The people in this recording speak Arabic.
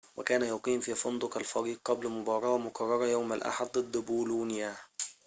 وكان يقيم في فندق الفريق قبل مباراة مقررة يوم الأحد ضد بولونيا